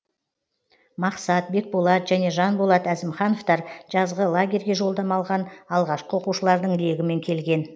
мақсат бекболат және жанболат әзімхановтар жазғы лагерьге жолдама алған алғашқы оқушылардың легімен келген